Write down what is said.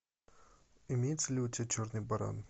имеется ли у тебя черный баран